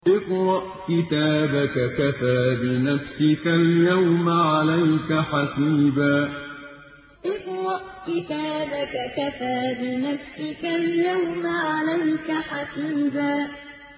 اقْرَأْ كِتَابَكَ كَفَىٰ بِنَفْسِكَ الْيَوْمَ عَلَيْكَ حَسِيبًا اقْرَأْ كِتَابَكَ كَفَىٰ بِنَفْسِكَ الْيَوْمَ عَلَيْكَ حَسِيبًا